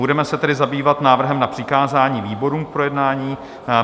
Budeme se tedy zabývat návrhem na přikázání výborům k projednání.